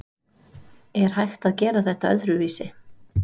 Er hægt að gera þetta öðruvísi?